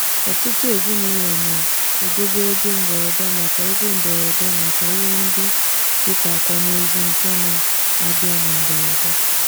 ọtụtụ ezinụlọ na-edobe ego mberede maka ego mberede maka ihe ndị dị ka akwamozu nke na-abịa na mberede.